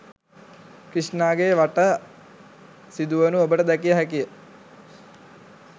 ක්‍රිෂ්ණාගේ වටා සිදුවනු ඔබට දැකිය හැකිය